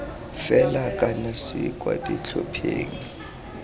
fela kana c kwa ditlhopheng